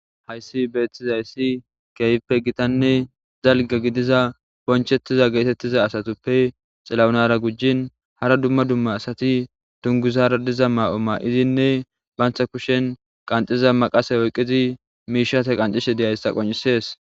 hayssi beethtizayssi keeyppe gitanne zalga gidiza bonchettiza geetettiza asatuppe xilawunara gujin hara dumma dumma asati dunguzara diza maa7o ma7izinne bantha kushen qanxiza maqasa oyqqizi miishate qancishe deyayssa qoncisees